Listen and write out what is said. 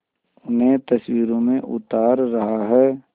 उन्हें तस्वीरों में उतार रहा है